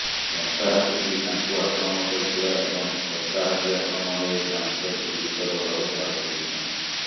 ଦନ୍ତାହାତୀଟି ତାଙ୍କୁ ଆକ୍ରମଣ କରିଥିଲା ଏବଂ ଦନ୍ତାହାତୀ ଆକ୍ରମଣରେ ଜାମସେଦ ଗୁରୁତର ଭାବେ ଆହତ ହୋଇଛନ୍ତି